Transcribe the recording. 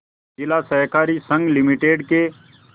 जिला सहकारी संघ लिमिटेड के